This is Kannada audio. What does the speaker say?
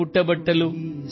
ಝೋಲೇ ಮೇ ಭಲಾ ಕ್ಯಾ ಹೈ